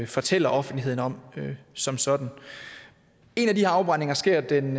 fortæller offentligheden om som sådan en af de her afbrændinger sker den